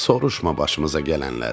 Soruşma başımıza gələnləri.